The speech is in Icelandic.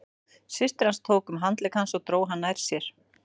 Systir hans tók um handlegg hans og dró hann nær sér.